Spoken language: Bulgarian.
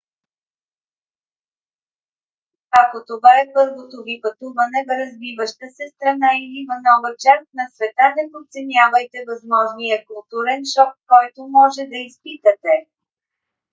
ако това е първото ви пътуване в развиваща се страна – или в нова част на света – не подценявайте възможния културен шок който може да изпитате